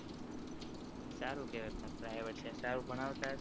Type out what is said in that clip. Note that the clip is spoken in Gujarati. સારું કેવાય પણ private છે સારું ભણાવ તા હશે ને